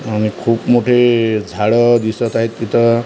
आणि खूप मोठे झाडं दिसत आहेत तिथं --